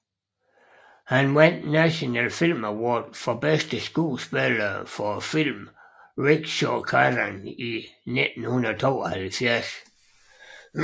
Han vandt National Film Award for bedste skuespiller for filmen Rickshawkaran i 1972